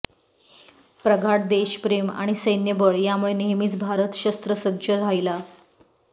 प्रगाढ देशप्रेम आणि सैन्यबळ यामुळे नेहमीच भारत शस्त्रसज्ज राहीला